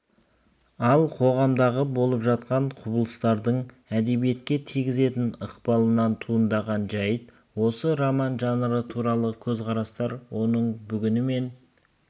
ал қоғамдағы болып жатқан құбылыстардың әдебиетке тигізген ықпалынан туындаған жайт осы роман жанры туралы көзқарастар оның бүгіні мен